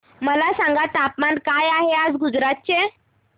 मला सांगा तापमान काय आहे गुजरात चे